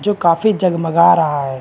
जो काफी जगमगा रहा है।